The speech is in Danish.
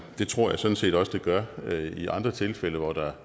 det tror jeg sådan set også det gør i andre tilfælde hvor der